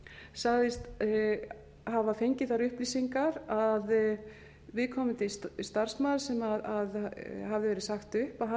sagðist hafa fengið þær upplýsingar að viðkomandi starfsmaður sem hafði verið sagt upp